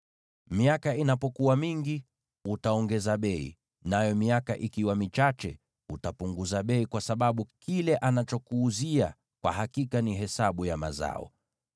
Miaka inapokuwa mingi, utaongeza bei, nayo miaka ikiwa michache, utapunguza bei, kwa sababu kile anachokuuzia kwa hakika ni hesabu ya mazao.